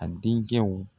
A denkɛw